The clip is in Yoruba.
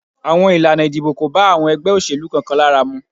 Àwọn Ilana ìdìbò ko ba àwọn ègbé òṣèlú kan kan lára mu